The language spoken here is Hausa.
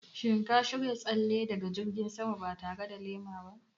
Shin ka shirya tsalle daga jirgin sama ba tare da lema ba?